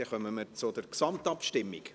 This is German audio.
Dann kommen wir zur Gesamtabstimmung.